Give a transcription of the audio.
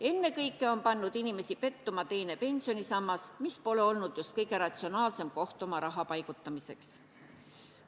Ennekõike on pannud inimesi pettuma teine pensionisammas, mis pole olnud just kõige ratsionaalsem koht oma raha paigutamiseks.